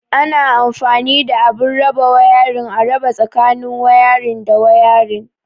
Ana anfani da abun raba wayarin, a raba tsakanin wayarin da wayarin.